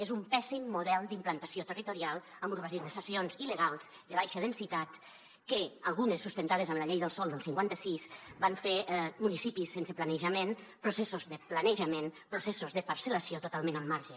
és un pèssim model d’implantació territorial amb urbanitzacions il·legals de baixa densitat que algunes sustentades amb la llei del sòl del cinquanta sis van fer municipis sense planejament processos de planejament processos de parcel·lació totalment al marge